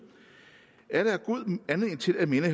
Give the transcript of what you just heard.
er der god anledning til at minde